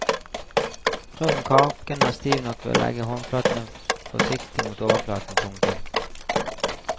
Prøv om kaken er stiv nok ved å legge håndflaten forsiktig mot overflaten. punktum